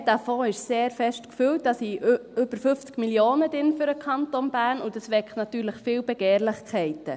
Sie haben gesehen, dass dieser Fonds ziemlich gefüllt ist, darin sind über 50 Mio. Franken für den Kanton Bern, und das weckt natürlich viele Begehrlichkeiten.